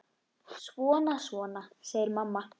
Svona, svona, segir mamma.